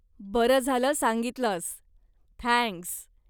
बरं झालं सांगितलस, थँक्स.